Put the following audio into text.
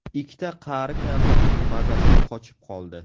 Ikkita qari kampirning mazasi qochib qoldi.